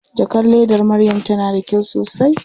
Jakar ledar Maryam tana da kyau sosai.